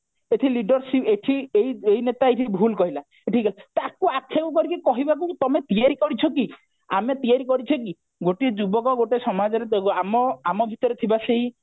ଏଠି leader ଏଠି ଏଇ ନେତା ଏଇଠି ଭୁଲ କହିଲା ତାକୁ ଆକ୍ଷେପ କରିକି କହିବାକୁ ତମେ ତିଆରି କରିଛ କି ଆମେ ତିଆରି କରିଛେ କି ଗୋଟିଏ ଯୁବକ ଗୋଟେ ସମାଜରେ ଆମ ଆମ ଭିତରେ ଥିବା ସେଇ